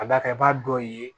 Ka d'a kan i b'a dɔ ye